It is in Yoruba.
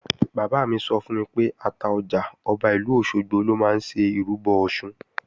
Bàbá mi sọ fún mi pé Àtaọjà, Ọba ìlú Òṣogbo lọ máa ń ṣe ìrúbọ Ọ̀ṣun